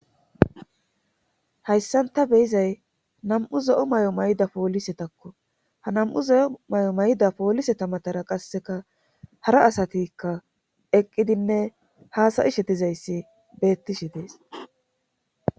hayssan ta beyizay nam7u zo7o may7o mayda poolise takko ha nam7u ze7o may7o mayda poolise tamatara qasseka hara asatikka eqqidinne haasayishe dizayssi beettishi dees